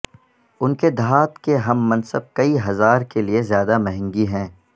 ان کے دھات کے ہم منصب کئی ہزار کے لئے زیادہ مہنگی ہیں